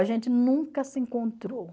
A gente nunca se encontrou.